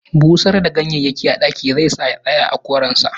Busar da ganyayyakin a ɗaki zai sa ya tsaya a koren sa